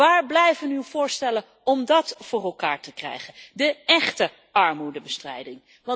Waar blijven uw voorstellen om dat voor elkaar te krijgen, de échte armoedebestrijding?